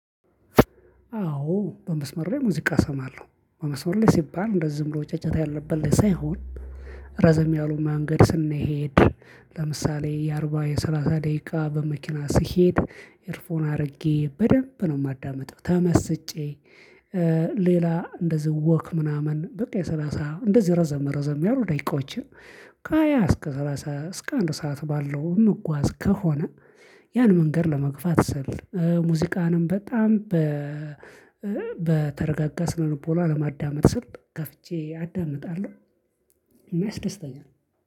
አዎ በመስመር ላይ ሙዚቃ እሰማለሁ። በመስመር ላይ ሲባል እንደዚህ ዝም ብሎ ጫጫታ ያለበት ላይ ሳይሆን። ረዘም ያሉ መንገድ ስንሄድ ለምሳሌ የአርባ የሠላሳ ደቂቃ በመኪና ስሄድ ኤርፎን አድርጌ በደንብ ነው የማዳምጠው ተመስጬ። ሌላ እንደዚህ ወክ ምናምን በቃ የሰላሳ እንደዚህ ረዘም ረዘም ያሉ ደቂቃዎችን ከሃያ እስከ ሰላሳ እስከ አንድ ሰዓት ባለው ምጓዝ ከሆነ። ያን መንገድ ለመግፋት ስል ሙዚቃንም በጣም በ በተረጋጋ ስነልቦና ለማዳመጥ ስል ከፍቼ አዳምጣለሁ። እና ያስደስታል